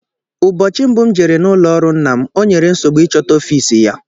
Ụbọchị mbụ m jere n'ụlọọrụ nna m, o nyere nsogbu ịchọta ofiisi ya